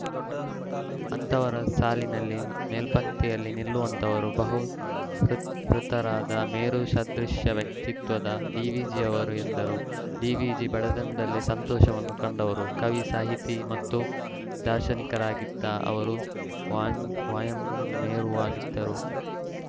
ಅಂಥವರ ಸಾಲಿನಲ್ಲಿ ಮೇಲ್ಪಂಕ್ತಿಯಲ್ಲಿ ನಿಲ್ಲುವಂತವರು ಬಹುಕೃ ತ್ ಶೃತರಾದ ಮೇರುಸದೃಷ ವ್ಯಕ್ತಿತ್ವದ ಡಿವಿಜಿ ಅವರು ಎಂದರು ಡಿವಿಜಿ ಬಡತನದಲ್ಲೇ ಸಂತಸವನ್ನು ಕಂಡವರು ಕವಿ ಸಾಹಿತಿ ಮತ್ತು ದಾರ್ಶನಿಕರಾಗಿದ್ದ ಅವರು ವಾಂಯಮ್ ಮೇರುವಾಗಿದ್ದರು